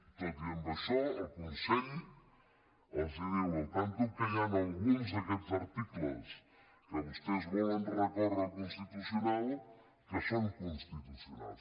i tot i això el consell els diu al tanto que hi han alguns d’aquests articles contra què vostès volen recórrer al constitucional que són constitucionals